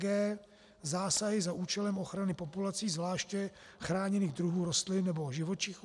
g) Zásahy za účelem ochrany populací zvláště chráněných druhů rostlin nebo živočichů.